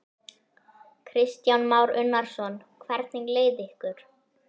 Kristján Már Unnarsson: Hvernig leið ykkur?